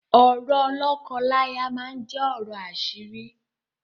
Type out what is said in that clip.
Ọ̀rọ̀ lọ́kọ-láya máa jẹ ọ̀rọ̀ àṣírí